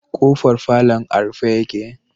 K'ofar falon a rufe yake.